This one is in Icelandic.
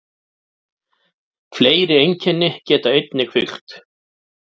Fleiri einkenni geta einnig fylgt.